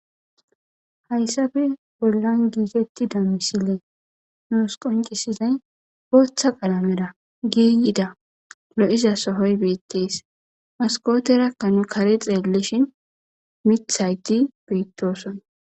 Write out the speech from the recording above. hayssafe bollan giitetti damisilee noos qoncisizay gooththa qalameda giiyida lo7iza sohoy beettees moskooterakka nu kare xeellishin mithaygi beettooson